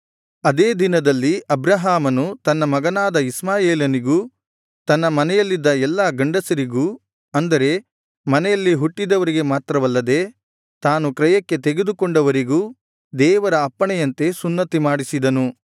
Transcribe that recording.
ಅದೇ ದಿನದಲ್ಲಿ ಅಬ್ರಹಾಮನು ತನ್ನ ಮಗನಾದ ಇಷ್ಮಾಯೇಲನಿಗೂ ತನ್ನ ಮನೆಯಲ್ಲಿದ್ದ ಎಲ್ಲಾ ಗಂಡಸರಿಗೂ ಅಂದರೆ ಮನೆಯಲ್ಲಿ ಹುಟ್ಟಿದವರಿಗೆ ಮಾತ್ರವಲ್ಲದೆ ತಾನು ಕ್ರಯಕ್ಕೆ ತೆಗೆದುಕೊಂಡವರಿಗೂ ದೇವರ ಅಪ್ಪಣೆಯಂತೆ ಸುನ್ನತಿಮಾಡಿಸಿದನು